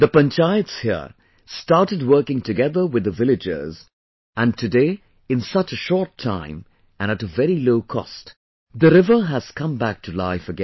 The panchayats here started working together with the villagers, and today in such a short time, and at a very low cost, the river has come back to life again